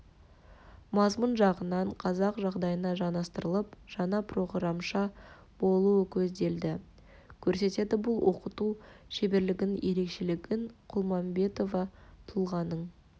мазмұн жағынан қазақ жағдайына жанастырылып жаңа проғырамша болуы көзделді көрсетеді бұл оқыту шеберлігінің ерекшелігін құлмағанбетова тұлғаның